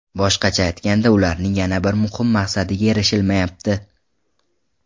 Boshqacha aytganda, ularning yana bir muhim maqsadiga erishilmayapti.